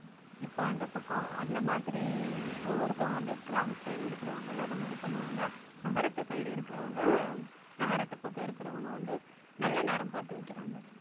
இப்ப அந்தப் பக்கம் அந்த மாதிரி ஒவ்வொருத்தவங்க அந்த கிராமத்து side இருக்கிறவங்க எல்லாம் அந்த மாதிரி பண்ணுவாங்க நகரத்து side இருக்கிறவங்க நகரத்து பக்கம் இருக்கிறவங்க வந்து நல்ல நேரம் பார்த்து வைக்கிறாங்க